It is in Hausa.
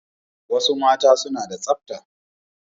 Wasu mata suna da tsabta